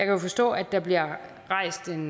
jo forstå at der bliver rejst en